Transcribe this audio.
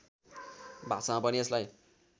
भाषामा पनि यसलाई